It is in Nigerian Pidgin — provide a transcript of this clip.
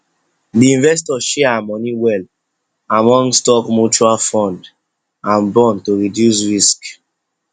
the investor share her money well among stock mutual fund and bond to reduce risk